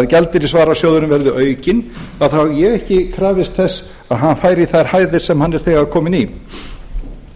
að gjaldeyrisvarasjóðurinn verði aukinn hef ég ekki krafist þess að hann færi í þær hæðir sem hann er þegar kominn í